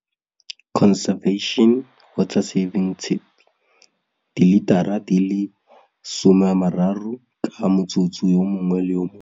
Dilitara di le 30 ka motsotso yo mongwe le yo mongwe.